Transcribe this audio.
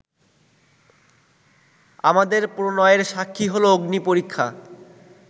আমাদের প্রণয়ের সাক্ষী হলো অগ্নিপরীক্ষা